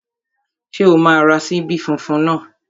Ṣé o máa ra ṣíbí funfun náà?